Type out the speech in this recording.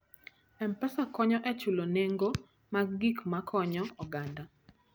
M-Pesa konyo e chulo nengo mag gik ma konyo oganda.